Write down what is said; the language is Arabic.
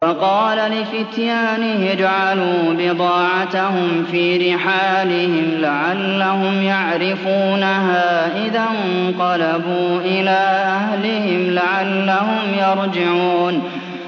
وَقَالَ لِفِتْيَانِهِ اجْعَلُوا بِضَاعَتَهُمْ فِي رِحَالِهِمْ لَعَلَّهُمْ يَعْرِفُونَهَا إِذَا انقَلَبُوا إِلَىٰ أَهْلِهِمْ لَعَلَّهُمْ يَرْجِعُونَ